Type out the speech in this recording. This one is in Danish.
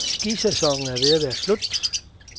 Skisæsonen er ved at være slut.